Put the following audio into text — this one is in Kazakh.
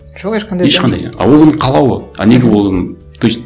жоқ ешқандай а оның қалауы а неге оның то есть